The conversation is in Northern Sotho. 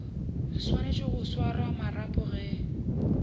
swanetše go swara marapo ge